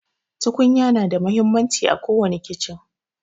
Tukunya na da muhimmanci à kowani kichen.